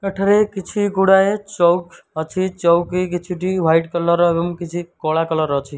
ଏଟାରେ କିଛି ଗୁଡ଼ାଏ ଚୂକି ଅଛି ଚୂକି କିଛି ଟି ୱାଇଟି କଲର୍ କିଛି କଳା କଲର ଅଛି।